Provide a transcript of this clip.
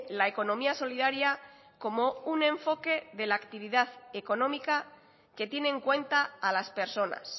la economía solidaria como un enfoque de la actividad económica que tiene en cuenta a las personas